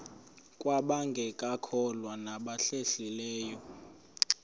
kwabangekakholwa nabahlehli leyo